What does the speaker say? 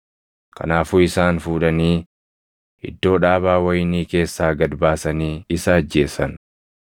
Kanaafuu isaan fuudhanii iddoo dhaabaa wayinii keessaa gad baasanii isa ajjeesan.